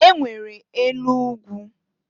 E nwere enu ugwu.